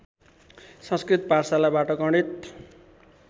संस्कृत पाठशालाबाट गणित